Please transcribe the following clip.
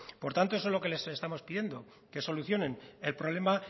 por tanto eso es lo que les estamos pidiendo que solucionen el problema